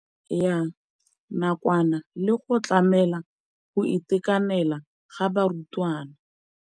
ya nakwana le go tlamela go itekanela ga barutwana.